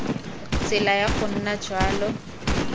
tsela ya go nna jalo